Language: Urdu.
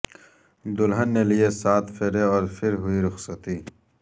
دلہن نے لئے سات پھیرے اور پھر ہوئی رخصتی